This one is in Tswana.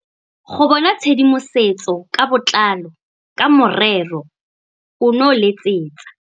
Go bona tshedimosetso ka botlalo ka morero ono letsetsa.